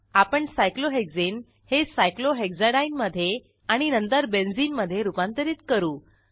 आपण सायक्लोहेक्सने हे सायक्लोहेक्साडीने मधे आणि नंतर बेंझिनमधे रूपांतरित करू